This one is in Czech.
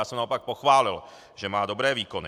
Já jsem ho naopak pochválil, že má dobré výkony.